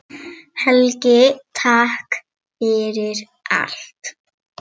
Yst á blöðum faldur.